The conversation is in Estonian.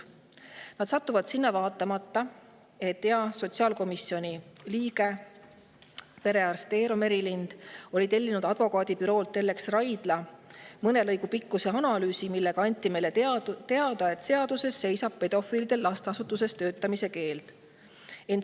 Nad satuvad sinna vaatamata sellele, et hea sotsiaalkomisjoni liige, perearst Eero Merilind tellis advokaadibüroolt Ellex Raidla mõne lõigu pikkuse analüüsi, milles anti meile teada, et seaduses seisab pedofiilidele lasteasutuses töötamise keeld.